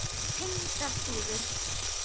Tengdar síður